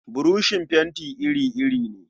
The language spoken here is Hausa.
Buroshin fenti iri-iri ne.